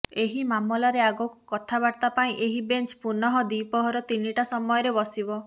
ଏହି ମାମଲାରେ ଆଗକୁ କଥାବାର୍ତ୍ତା ପାଇଁ ଏହି ବେଞ୍ଚ ପୁନଃ ଦ୍ୱିପ୍ରହର ତିନିଟା ସମୟରେ ବସିବ